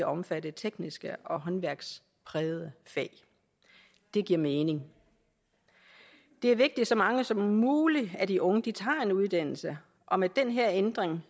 omfatte tekniske og håndværksprægede fag det giver mening det er vigtigt at så mange som muligt af de unge tager en uddannelse og med den her ændring